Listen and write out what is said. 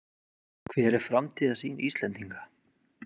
Hver er framtíðarsýn Íslendinga?